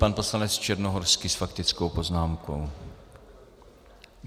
Pan poslanec Černohorský s faktickou poznámkou.